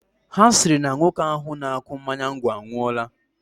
Ha sịrị na nwoke ahụ na-akụ mmanya ngwọ anwụọla